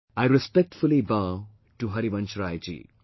I respectfully bow to Harivansh Rai Ji